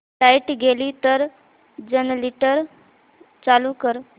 light गेली तर generator चालू कर